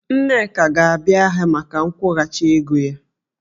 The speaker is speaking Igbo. Nneka ga-abịa maka nkwụghachi ego ya